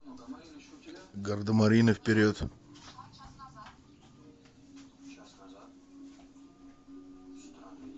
гардемарины вперед